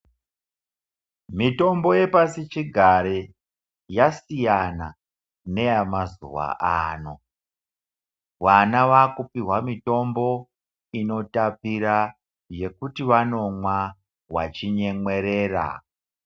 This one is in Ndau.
Mitombo yepasichigare yasiyana neyamazuwa ano. Vana vakupihwa mutombo inotapira yekuti vanomwa vachinyemwerera